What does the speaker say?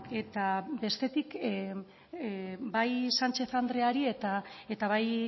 eta bestetik bai sánchez andreari eta bai